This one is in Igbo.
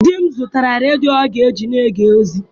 Di m zụtara redio ọ ga-eji na-ege ozi.